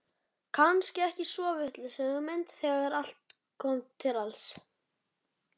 Kannski ekki svo vitlaus hugmynd þegar allt kom til alls.